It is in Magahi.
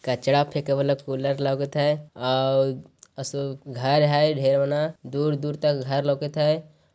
कचड़ा फेकेवाला कूलर लागत है आ-व-आसु घर है ढ़ेर मना दूर दूर तक घर लोकत है।